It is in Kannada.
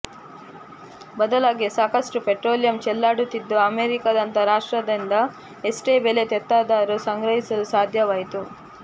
ಬದಲಾಗಿ ಸಾಕಷ್ಟು ಪೆಟ್ರೋಲಿಯಂ ಚೆಲ್ಲಾಡುತ್ತಿದ್ದು ಅಮೆರಿಕಾದಂತ ರಾಷ್ಟ್ರದಿಂದ ಎಷ್ಟೇ ಬೆಲೆ ತೆತ್ತಾದರೂ ಸಂಗ್ರಹಿಸಲು ಸಾಧ್ಯವಾಯಿತು